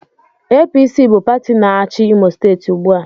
APC bụ pati na-achi Imo steeti ugbu a.